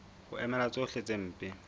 ho emela tsohle tse mpe